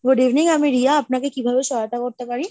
Good evening আমি রিয়া আপনাকে কিভাবে সহায়তা করতে পারি?